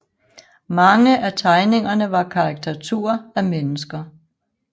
Mange af tegningerne var karikaturer af mennesker